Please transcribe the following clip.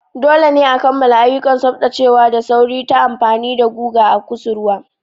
Dole ne a kammala ayyukan tsaftacewa da sauri ta amfani da guga a kusurwa.